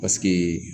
Paseke